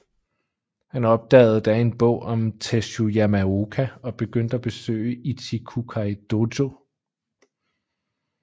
Han opdagede da en bog om Tesshu Yamaoka og begyndte at besøge Ichikukai dojo